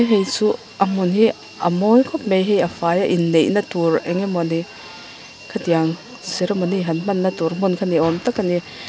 hei chu a hmun hi a mawi khawp mai hei a faia inneihna tûr eng nge maw ni khatiang ceremony han hmanna tûr hmun kha ni âwm tak a ni.